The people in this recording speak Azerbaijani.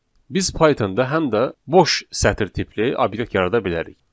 Biz Pythonda həm də boş sətr tipli obyekt yarada bilərik.